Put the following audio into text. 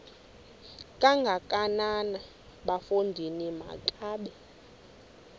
kangakanana bafondini makabe